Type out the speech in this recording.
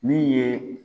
Min ye